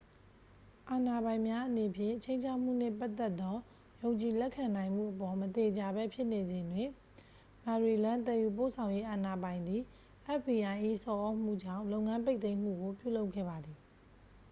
အာဏာပိုင်များအနေဖြင့် ခြိမ်းခြောက်မှုနှင့်ပတ်သက်သော ယုံကြည်လက်ခံနိုင်မှုအပေါ် မသေချာဘဲဖြစ်နေစဉ်တွင် maryland သယ်ယူပို့ဆောင်ရေးအာဏာပိုင်သည် fbi ၏ဆော်သြမှုကြောင့် လုပ်ငန်းပိတ်သိမ်းမှုကို ပြုလုပ်ခဲ့ပါသည်